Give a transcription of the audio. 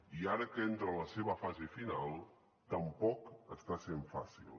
i ara que entra a la seva fase final tampoc està sent fàcil